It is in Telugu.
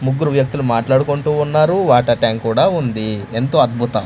ముగ్గురు వ్యక్తులు మాట్లాడుకుంటూ ఉన్నారు వాటర్ ట్యాంక్ కూడా ఉంది ఎంతో అద్భుతం.